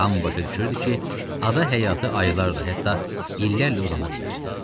Hamı başa düşürdü ki, ada həyatı aylarla, hətta illərlə uzana bilər.